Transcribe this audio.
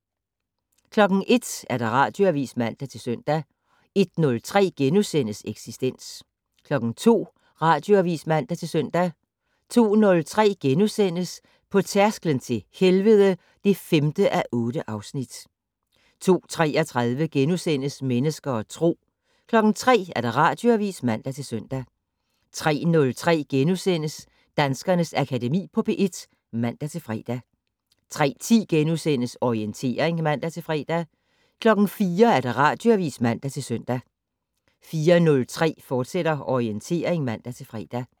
01:00: Radioavis (man-søn) 01:03: Eksistens * 02:00: Radioavis (man-søn) 02:03: På tærsklen til helvede (5:8)* 02:33: Mennesker og Tro * 03:00: Radioavis (man-søn) 03:03: Danskernes Akademi på P1 *(man-fre) 03:10: Orientering *(man-fre) 04:00: Radioavis (man-søn) 04:03: Orientering, fortsat (man-fre)